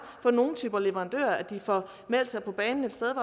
for nogle typer leverandører de får meldt sig banen et sted